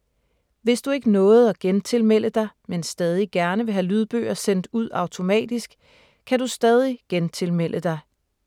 Hvis du ikke nåede at gentilmelde dig, men stadig gerne vil have lydbøger sendt ud automatisk, kan du stadig gentilmelde dig: